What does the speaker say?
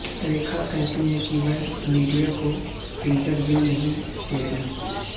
ریکھا کہتی ہیں کہ وہ میڈیا کو انٹرویو نہیں دیتیں